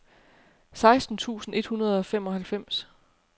seksten tusind et hundrede og femoghalvfems